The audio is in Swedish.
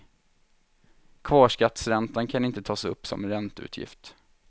Kvarskattsräntan kan inte tas upp som ränteutgift.